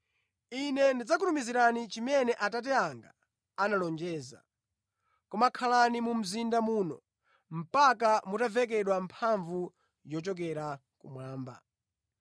Ine ndidzakutumizirani chimene Atate anga analonjeza. Koma khalani mu mzinda muno mpaka mutavekedwa mphamvu yochokera kumwamba.”